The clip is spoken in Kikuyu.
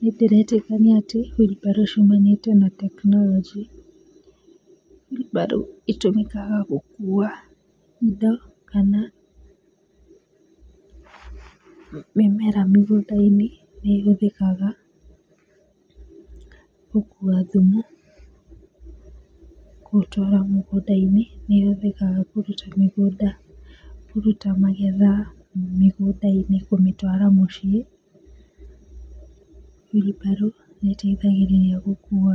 Nĩndĩretĩkania atĩ wheelbarrow ciumanĩte na tekinoronjĩ. Wheelbarrow ĩtũmĩkaga gũkua indo kana mĩmera mũgũnda-inĩ, nĩĩhũthĩkaga gũkua thumu gũtwara mĩgũnda-inĩ. Nĩĩhũthĩkaga kũruta magetha mĩgũnda-inĩ kũmĩtwara mũciĩ, wheelbarrow nĩĩteithagĩrĩria gũkua